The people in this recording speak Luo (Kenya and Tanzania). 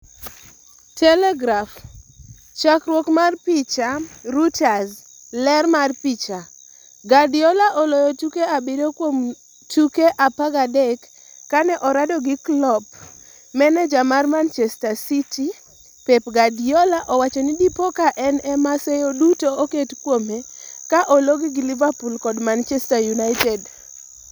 (Telegraph) Chakruok mar picha, Reuters. Ler picha, Guardiola oloyo tuke abiriyo kuom tuke 13 kane orado gi Klopp Maneja mar Manchester City Pep Guardiola owacho ni dipoka en ema seyo duto oket kuome ka ologi gi Liverpool kod Manchester United.